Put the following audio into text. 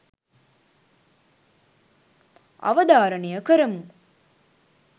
අවධාරණය කරමු.